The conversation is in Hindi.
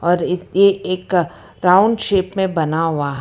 और ये एक राउंड शेप में बना हुआ--